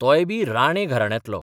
तोयबी राणे घराण्यांतलो.